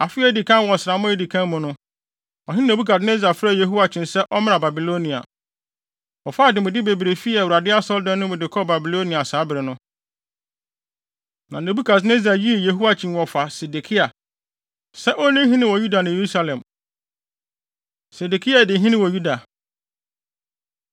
Afe a edi kan wɔ ɔsram a edi kan mu no, ɔhene Nebukadnessar frɛɛ Yehoiakyin sɛ ɔmmra Babilonia. Wɔfaa ademude bebree fii Awurade Asɔredan no mu de kɔɔ Babilonia saa bere no. Na Nebukadnessar yii Yehoiakyin wɔfa Sedekia, sɛ onni hene wɔ Yuda ne Yerusalem. Sedekia Di Hene Wɔ Yuda